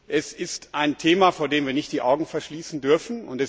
Das ist ein Thema, vor dem wir nicht die Augen verschließen dürfen.